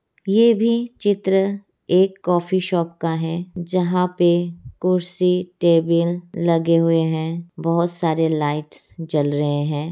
ये भी चित्र एक कॉफी शॉप का है जहाँ पे कुर्सी टेबिल लगे हुए है बोहत सारे लाइट्स जल रहे है।